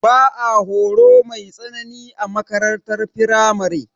Ba are horo mai tsanani a makarantar firamare.